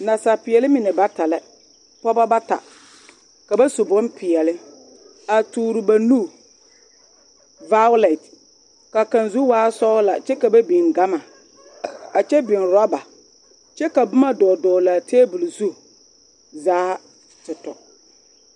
Nasaalpeɛle mine bata la pɔgeba bata ka ba su bompeɛle a toore ba nu vaalɛte ka kaŋ zu waa sɔglaa kyɛ ka ba biŋ gama a kyɛ biŋ orɔba kyɛ ka boma dɔgle dɔgle a tabol zu zaa te tɔ.